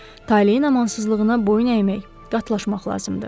Taleyin amansızlığına boyun əymək, qatlaşmaq lazımdır.